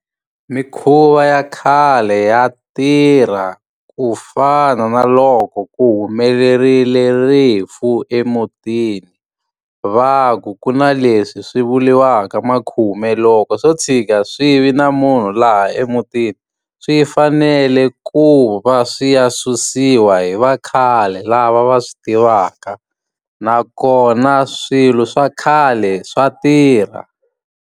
Mikhuva ya khale ya tirha. Ku fana na loko ku humelerile rifu emutini, va ku ku na leswi swi vuriwaka makhume. Loko swo tshika swi vi na munhu laha emutini, swi fanele ku va swi ya susiwa hi vakhale lava va swi tivaka. Nakona swilo swa khale swa tirha.